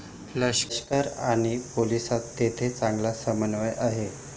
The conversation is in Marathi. लष्कर आणि पोलिसांत तेथे चांगला समन्वय आहे.